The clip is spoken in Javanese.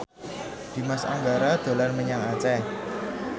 Dimas Anggara dolan menyang Aceh